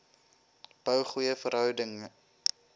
bou goeie verhoudinge